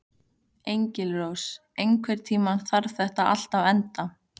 Engilrós, einhvern tímann þarf allt að taka enda.